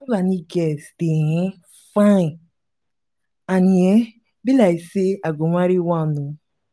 fulani girls dey um fine and e um be like say i go marry one um